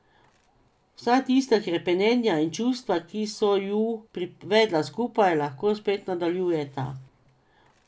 Vsa tista hrepenenja in čustva, ki so ju privedla skupaj, lahko spet nadaljujeta.